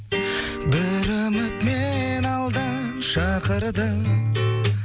бір үміт мені алдан шақырды